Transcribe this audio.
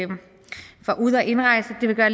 det vil gøre